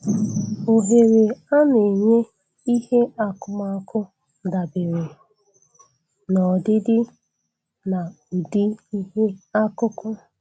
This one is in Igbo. Ohere a na-enye ihe akụkụ dabere n'ọdịdị na ụdị ihe akụkụ